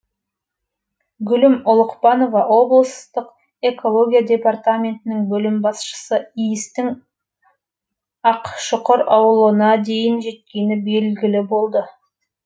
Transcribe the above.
гүлім ұлықпанова облыстық экология департаментінің бөлім басшысы иістің ақшұқыр ауылына дейін жеткені белгілі болды